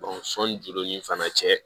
sɔnni jolen fana cɛ